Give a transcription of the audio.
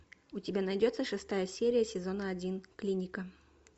у тебя найдется шестая серия сезона один клиника